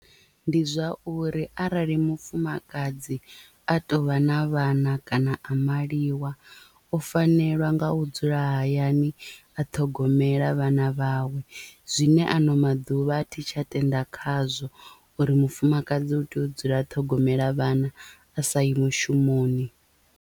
Ndi zwa uri arali mufumakadzi a tou vha na vhana kana a maliwa o fanelwa nga u dzula hayani a ṱhogomela vhana vhawe zwine ano maḓuvha a thi tsha tenda khazwo uri mufumakadzi u tea u dzula ṱhogomela vhana a sa i mushumoni.